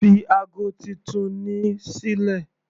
Fi ago titun ni sílẹ̀.